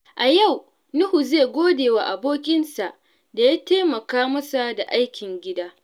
A yau, Nuhu zai gode wa abokinsa da ya taimaka masa da aikin gida.